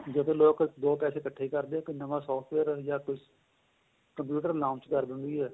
ਜਦੋਂ ਲੋਕ ਦੋ ਪੈਸੇ ਇੱਕਠੇ ਕਰਦੇ ਏ ਇੱਕ ਨਵਾਂ software ਜਾਂ ਕੁੱਛ computer ਕਰ ਦਿੰਦੀ ਏ